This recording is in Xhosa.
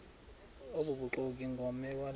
obubuxoki ngomme lwane